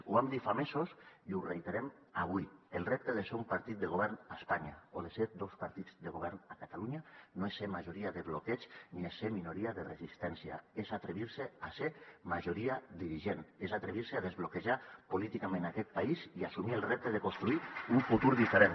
ho vam dir fa mesos i ho reiterem avui el repte de ser un partit de govern a espanya o de ser dos partits de govern a catalunya no és ser majoria de bloqueig ni és ser minoria de resistència és atrevir se a ser majoria dirigent és atrevir se a desbloquejar políticament aquest país i assumir el repte de construir un futur diferent